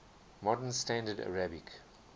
modern standard arabic